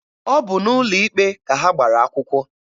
Ọ bụ n'ụlọ ikpe ka ha gbara akwụkwọ.